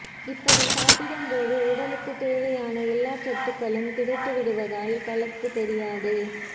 இப்படிச் சாப்பிடும்போது உடலுக்குத் தேவையான எல்லாச் சத்துகளும் கிடைத்து விடுவதால் களைப்பு தெரியாது